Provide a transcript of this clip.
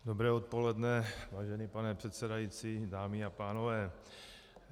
Dobré odpoledne, vážený pane předsedající, dámy a pánové.